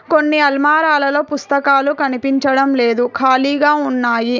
కొన్ని అల్మారాలలో పుస్తకాలు కనిపించడం లేదు ఖాళీగా ఉన్నాయి.